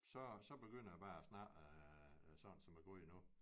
Så så begynder jeg bare at snakke sådan som jeg gør lige nu